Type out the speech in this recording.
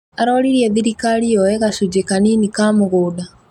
Aroririe thirikari yooe gacunjĩ kanini ka mũgũnda